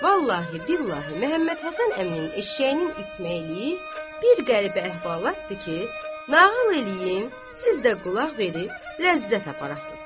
Vallahi-billahi, Məhəmmədhəsən əminin eşşəyinin itməyi bir qəribə əhvalatdır ki, nağıl eləyim, siz də qulaq verib ləzzət aparasız.